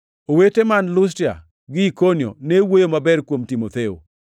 Owete man Lustra gi Ikonio ne wuoyo maber kuom Timotheo.